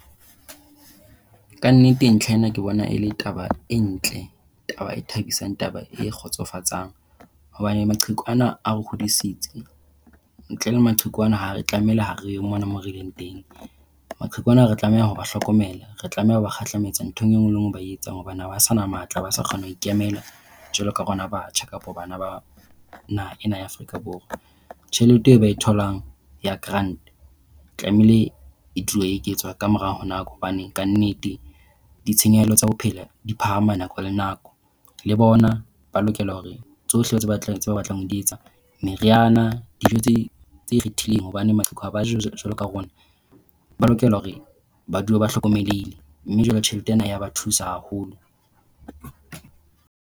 Ka nnete, ntlha ena ke bona e le taba e ntle. Taba e thabisang. Taba e kgotsofatsang hobane maqheku ana a re kgodisitse ntle le maqheku ana ha re tlamehile ha re yo mona moo re leng teng. Maqheku ana re tlameha ho ba hlokomela. Re tlameha hore kgahlametsa ntho enngwe le nngwe e ba etsang hobane ha ba sa na matla. Ha ba sa kgona ho ikemela jwalo ka rona batjha kapa bana ba naha ena ya Afrika Borwa. Tjhelete eo ba e tholang ya grant tlamehile e tlilo eketswa ka mora nako hobane kannete ditshenyehelo tsa bophelo di phahama nako le nako. Le bona ba lokela hore tsohle tseo ba batlang ho di etsa, meriana, dijo tse ikgethileng hobane maqheku ha ba je jwaloka rona, ba lokela hore ba dule ba hlokomelehile. Mme jwale tjhelete ena ya ba thusa haholo.